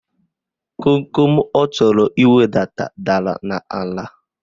Komkom ọ chọrọ iwedata dara n'ala.